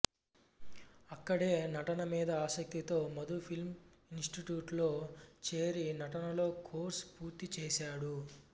అక్కడే నటన మీద ఆసక్తితో మధు ఫిల్మ్ ఇన్స్టిట్యూట్ లో చేరి నటనలో కోర్సు పూర్తి చేశాడు